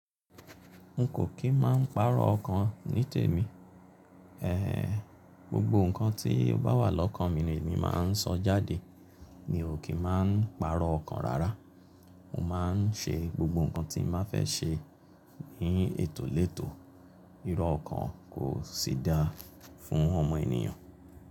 N kò kí n máa ń pàrọ̀ ọ̀kan ní tèmi. Gbogbo ǹkan tí ó bá wà lọ́kàn mi ni èmi máa ń sọ jáde mi ò kí má n pàrọ̀ ọ̀kan rárá. Mo má a ń ṣe gbogbo ǹkan tí má fẹ́ ṣe ní ètò lẹ́tò. Irọ́ ọ̀kan kò sí dáa fún ọmọ ènìyàn.